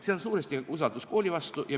See on suuresti ka usaldus kooli vastu.